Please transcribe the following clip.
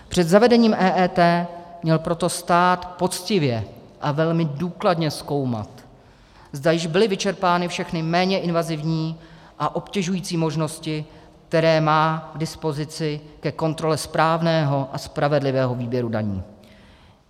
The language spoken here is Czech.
Před zavedením EET měl proto stát poctivě a velmi důkladně zkoumat, zda již byly vyčerpány všechny méně invazivní a obtěžující možnosti, které má k dispozici ke kontrole správného a spravedlivého výběru daní.